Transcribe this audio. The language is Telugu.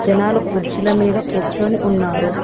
జనాలు కుర్చీల మీద కూర్చొని ఉన్నారు.